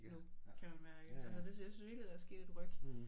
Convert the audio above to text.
Nu kan man mærke altså det jeg synes virkelig der er sket et ryk